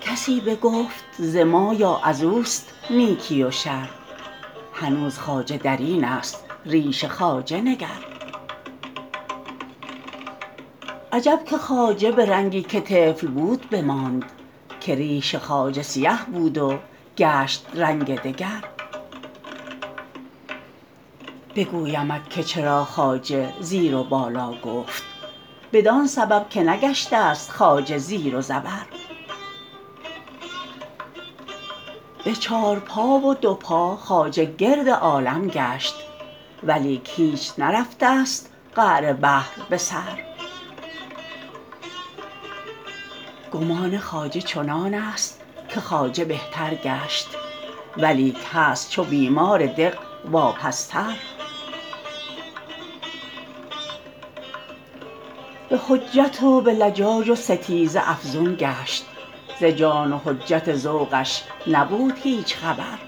کسی بگفت ز ما یا از اوست نیکی و شر هنوز خواجه در اینست ریش خواجه نگر عجب که خواجه به رنگی که طفل بود بماند که ریش خواجه سیه بود و گشت رنگ دگر بگویمت که چرا خواجه زیر و بالا گفت بدان سبب که نگشتست خواجه زیر و زبر به چار پا و دو پا خواجه گرد عالم گشت ولیک هیچ نرفتست قعر بحر به سر گمان خواجه چنانست که خواجه بهتر گشت ولیک هست چو بیمار دق واپستر به حجت و به لجاج و ستیزه افزون گشت ز جان و حجت ذوقش نبود هیچ خبر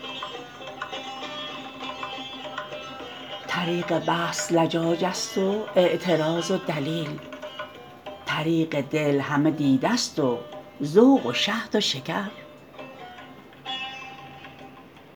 طریق بحث لجاجست و اعتراض و دلیل طریق دل همه دیده ست و ذوق و شهد و شکر